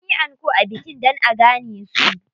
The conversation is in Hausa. Sun yi anko a bikin dan a gane su.